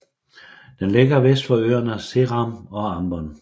Den ligger vest for øerne Seram og Ambon